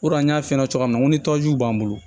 an y'a f'i ɲɛna cogo min na ni tɔjugu b'an bolo